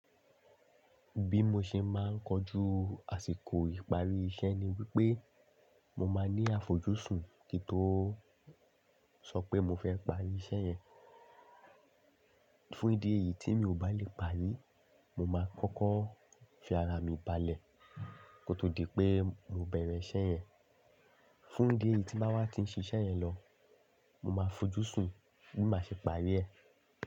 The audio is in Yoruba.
Bí mo ṣe máa ń kojú àsìkò ìparí iṣẹ́ ni wípé mo máa ní àfojúsùn kí tó sọ pé mo fẹ́ parí iṣẹ́ yẹn. Fún ìdí èyí tí mi ò bá lè parí, mo máa kọ́kọ́ fi ara mi balẹ̀ kó tó di pé mo bẹ̀rẹ̀ iṣẹ́ yẹn. Fún idi èyí tí báa wá ti ń ṣe iṣẹ́ yẹn lọ, mo máa fojúsùn bí màá ṣe parí ẹ̀